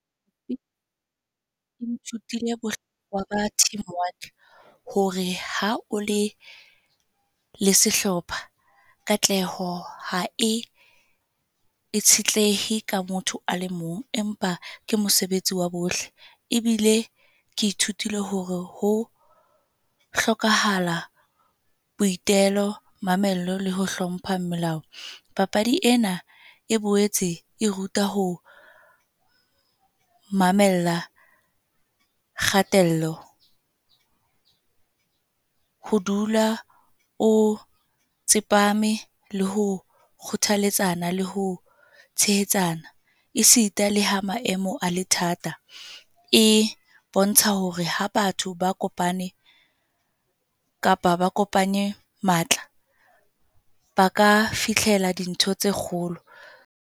Ke ithutile hore ha o le le sehlopha, katleho ha e tshitlehe ka motho a le mong, empa ke mosebetsi wa bohle. Ebile ke ithutile hore ho hlokahala boitelo, mamello le ho hlompha melao. Papadi ena e boetse e ruta ho mamella kgatello. Ho dula o tsepame le ho kgothaletsana, le ho tshehetsana, esita le ha maemo a le thata. E bontsha hore ha batho ba kopane, kapa ba kopanye matla, ba ka fihlela dintho tse kgolo.